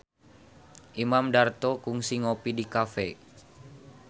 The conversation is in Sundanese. Imam Darto kungsi ngopi di cafe